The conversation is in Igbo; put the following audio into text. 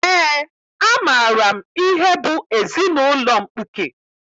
Eé, amaara m ihe bụ ezinaụlọ mkpuke